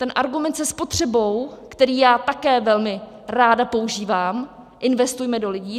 Ten argument se spotřebou, který já také velmi ráda používám - investujme do lidí.